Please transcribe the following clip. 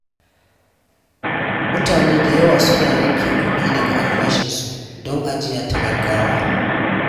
Mutane da yawa suna yanke kuɗi daga albashinsu don ajiya ta gaggawa.